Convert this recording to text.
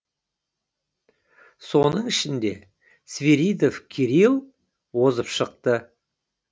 соның ішінде свиридов кирилл озып шықты